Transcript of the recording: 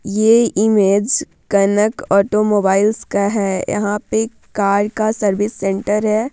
ये image Kanak automobiles का है यहाँ पे कार का सर्विस सेंटर है।